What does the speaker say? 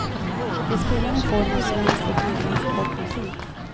De spelar en form av svensk och irländsk folkmusik.